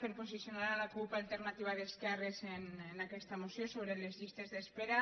per posicionar la cup alternativa d’esquerres en aquesta moció sobre les llistes d’espera